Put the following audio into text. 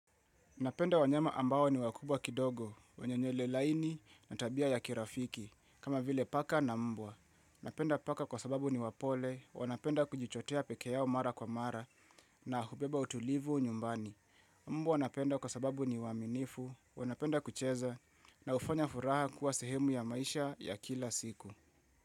Napenda wanyema ambao ni wakubwa kidogo, wanye nywelelaini na tabia ya kirafiki, kama vile paka na mbwa. Napenda paka kwa sababu ni wapole, wanapenda kujichotea pekeyao mara kwa mara na hubeba utulivu nyumbani. Mbwa wanapenda kwa sababu ni waaminifu, wanapenda kucheza na hufanya furaha kuwa sehemu ya maisha ya kila siku.